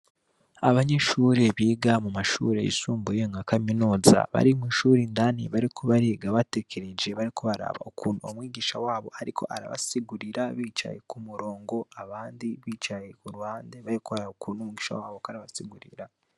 Abanyeshure biga mumashure yisumbuye nka kaminuza bari mwishuri indani bariko bariga batekereje bariko baraba ukuntu umwigisha wabo ariko arabasigurira bicaye ku murongo abandi bicaye ku ruhande bariko baraba ukuntu umwigisha wabo ariko arabasigurira.